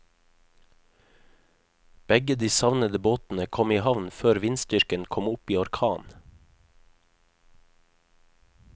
Begge de savnede båtene kom i havn før vindstyrken kom opp i orkan.